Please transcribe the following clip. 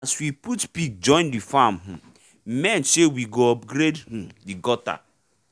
as we put pig join the farm um men say we go upgrade um the gutter